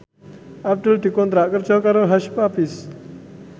Abdul dikontrak kerja karo Hush Puppies